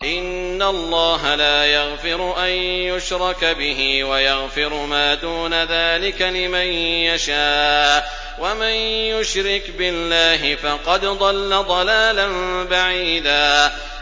إِنَّ اللَّهَ لَا يَغْفِرُ أَن يُشْرَكَ بِهِ وَيَغْفِرُ مَا دُونَ ذَٰلِكَ لِمَن يَشَاءُ ۚ وَمَن يُشْرِكْ بِاللَّهِ فَقَدْ ضَلَّ ضَلَالًا بَعِيدًا